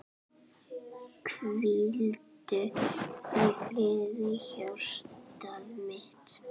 Hvíldu í friði hjartað mitt.